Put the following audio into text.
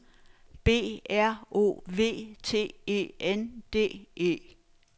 B R O V T E N D E